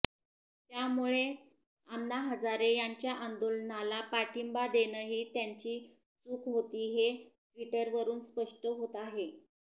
त्यामुळेच अण्णा हजारे यांच्या आंदोलनाला पाठिंबा देणंही त्यांची चूक होती हे ट्विटवरून स्पष्ट होत आहे